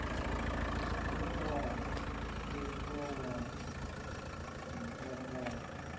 we wa sengwa wa ntakadza